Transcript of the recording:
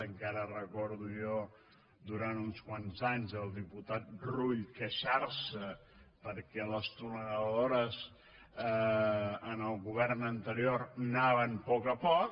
encara recordo jo durant uns quants anys el diputat rull queixar se perquè les tuneladores en el govern anterior anaven a poc a poc